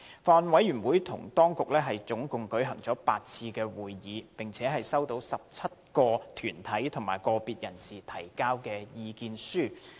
法案委員會與政府當局一共舉行了8次會議，並收到17個團體及個別人士所提交的意見書。